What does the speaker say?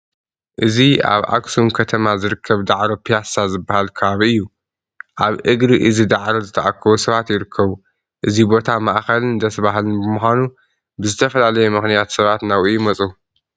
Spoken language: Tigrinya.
እዚ ኣብ ኣኽሱም ከተማ ዝርከብ ዳዕሮ ፒያሳ ዝበሃል ከባቢ እዩ፡፡ ኣብ እግሪ እዚ ዳዕሮ ዝተኣከቡ ሰባት ይርከቡ፡፡ እዚ ቦታ ማእኸልን ደስ በሃልን ብምዃኑ ብዝተፈላለየ ምኽንያት ሰባት ናብኡ ይመፁ፡፡